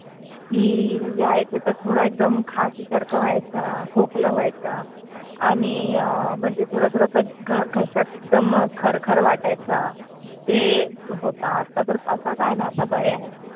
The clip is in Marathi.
कि यायचा तर थोडा एकदम खासी सारखा व्हायचा, खोकला व्हायचा आणि अं म्हणजे थोडा थोडा घशात दम खरखर वाटायचं ते होत. आता तर काही नाही आता बरे आहे